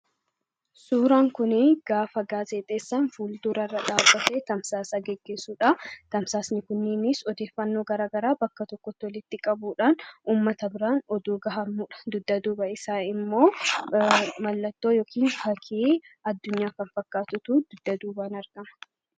Suuraan kunii, gaafa gaazexeessaan fuldurarra dhaabbatee tamsaasa gaggeessudha. Tamsaasni kunneenis odeeffannoo garaagaraa bakka tokkotti walitti qabuudhaan uummata bira oduu gahamudha. Dugda duuba isaa immoo mallattoo yookaan fakkii addunyaa kan fakkaatutu dugda duubaan argama.